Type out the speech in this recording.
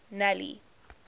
nelly